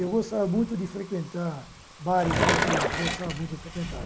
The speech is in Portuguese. Eu gostava muito de frequentar bares noturnos, gostava muito de frequentar.